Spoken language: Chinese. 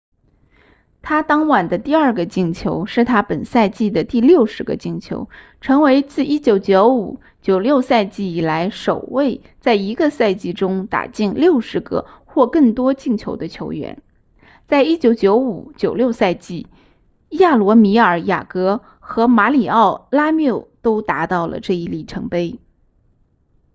他当晚的第二个进球是他本赛季的第60个进球成为自 1995-96 赛季以来首位在一个赛季中打进60个或更多进球的球员在 1995-96 赛季亚罗米尔雅格和马里奥拉缪都达到了这一里程碑